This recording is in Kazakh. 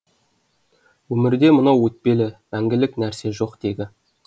өмірде мынау өтпелі мәңгілік нәрсе жоқ тегі